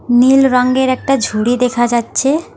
নীল রঙ্গের একটা ঝুড়ি দেখা যাচ্ছে।